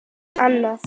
Svo er annað.